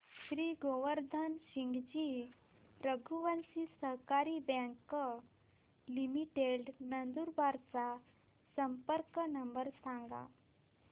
श्री गोवर्धन सिंगजी रघुवंशी सहकारी bank limited Nandurbar चा संपर्क नंबर सांगा